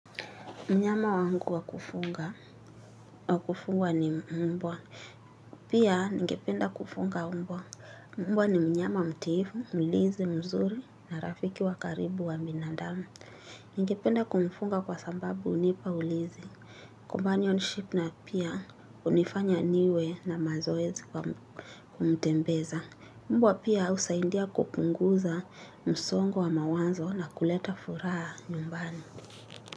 Mnyama wangu wakufuga wakufungwa ni mbwa. Pia ningependa kufunga mbwa. Mbwa ni mnyama mtiifu, mlizi, mzuri na rafiki wakaribu wa binadamu. Ningependa kumfunga kwa sambabu unipa ulizi. Companionship na pia unifanya niwe na mazoezi kumtembeza. Mbwa pia usahindia kupunguza msongo wa mawanzo na kuleta furaha nyumbani.